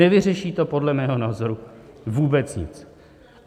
Nevyřeší to podle mého názoru vůbec nic.